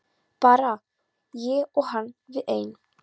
Bara ég og hann við ein.